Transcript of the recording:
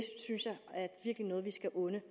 noget vi skal unde